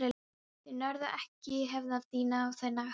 Þú nærð ekki að hefna þín á þann hátt.